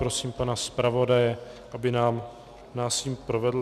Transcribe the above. Prosím pana zpravodaje, aby nás jím provedl.